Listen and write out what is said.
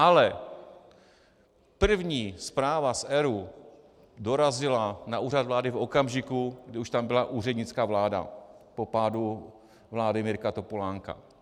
Ale první zpráva z ERÚ dorazila na Úřad vlády v okamžiku, kdy už tam byla úřednická vláda po pádu vlády Mirka Topolánka.